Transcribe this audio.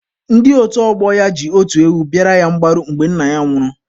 Ndị otu ọgbọ ya ji otu ewu bịara ya mgbaru mgbe nna ya nwụrụ